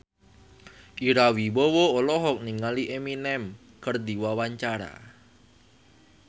Ira Wibowo olohok ningali Eminem keur diwawancara